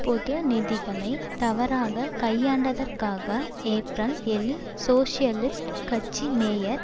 பொது நிதிகளை தவறாக கையாண்டதற்காக ஏப்ரல் ஏழில் சோசியலிஸ்ட் கட்சி மேயர்